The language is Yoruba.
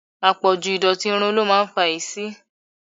Apọ̀jù ìdọ̀tí irun ló máa ń fa èéṣí.